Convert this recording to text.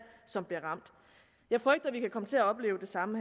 som bliver ramt jeg frygter vi kan komme til opleve det samme